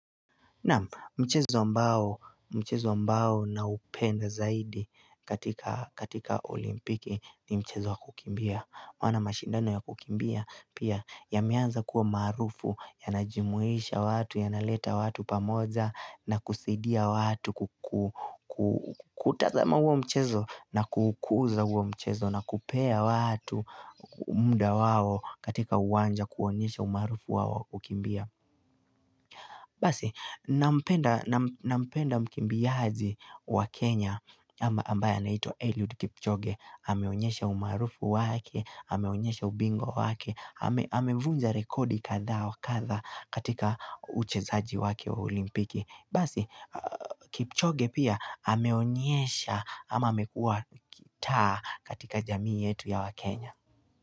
Mchezo ambao na upenda zaidi katika olimpiki ni mchezo wa kukimbia. Wana mashindano ya kukimbia pia yameanza kuwa maarufu yanajumuisha watu ya naleta watu pamoja na kusaidia watu kutazama huo mchezo na kuukuza huo mchezo na kupea watu muda wao katika uwanja kuonyesha umaarufu wao wa kukimbia. Basi, nampenda mkimbiaji wa Kenya ambaye anaitwa Elliud Kipchoge, ameonyesha umaarufu wake, ameonyesha ubingwa wake, amevunja rekodi kadhaa wa kadha katika uchezaji wake wa olimpiki. Basi, Kipchoge pia ameonyesha ama amekuwa ki taa katika jamii yetu ya wakenya.